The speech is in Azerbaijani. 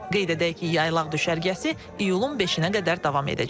Qeyd edək ki, yaylaq düşərgəsi iyulun 5-ə qədər davam edəcək.